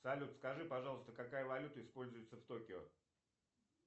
салют скажи пожалуйста какая валюта используется в токио